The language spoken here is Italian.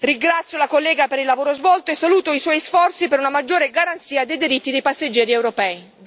Ringrazio la collega per il lavoro svolto e saluto i suoi sforzi per una maggiore garanzia dei diritti dei passeggeri europei.